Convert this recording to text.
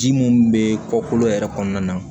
Ji mun be kɔkɔ yɛrɛ kɔnɔna na